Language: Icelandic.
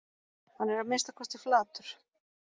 Hann er að minnsta kosti flatur